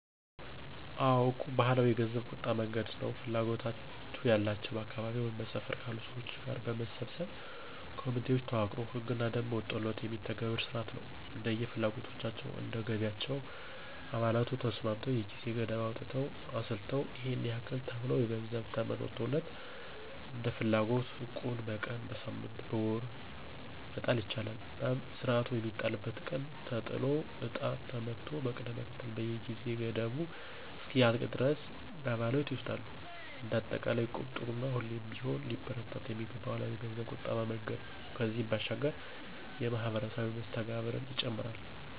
አዎ... እቁብ ባህላዊ የገንዘብ ቁጠባ መንገድ ነው። ፍላጎቱ ያላቸው በአካባቢው ወይም በሰፈር ካሉ ሰዎች ጋር በመሰባሰብ ኮሚቴዎች ተዋቅሮ ህግና ደንብ ወጥቶለት የሚተገብር ስርዓት ነው። እንደየ ፍላጎታቸው፣ እንደ ገቢያቸው አባላቱ ተስማምተው የጊዜ ገደብ አውጥተው አስልተው ይሔን ያክል ተብሎ የገንዘብ ተመን ወጥቶለት እንደፍላጎት እቁብ በቀን፣ በሳምንት፣ በወር መጣል ይቻላል። እናም ስርዓቱ የሚጣልበት ቀን ተጥሎ እጣ ተመቶ በቅደም ተከተል የጊዜ ገደቡ እስከሚያልቅ ድረስ አባላቱ ይወስዳሉ። እንደ አጠቃላይ እቁብ ጥሩ እና ሁሌም ቢሆን ሊበረታታ የሚገባው ባህላዊ የገንዘብ ቁጠባ መንገድ ነው። ከዚህም ባሻገር ማህበራዊ መስተጋብርን ይጨምራል።